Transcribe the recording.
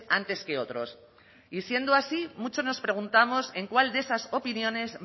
antes que otros y siendo así muchos nos preguntamos en cuál de esas opiniones